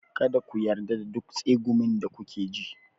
Kada ku yarda da duk tsegumin da kuke ji.